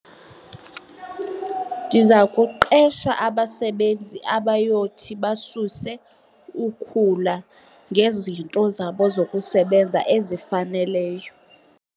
Ndiza kuqesha abasebenzi abayothi basuse ukhula ngezinto zabo zokusebenza ezifaneleyo.